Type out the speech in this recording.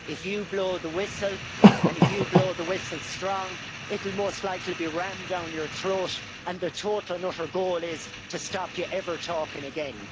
If you blow the whistle and if you blow the whistle strong, it will most likely be rammed down your throat and the total and utter goal is to stop you ever talking again.